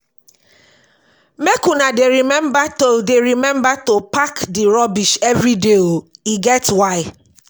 Make una dey rememba to dey rememba to pack di rubbish everyday o, e get why.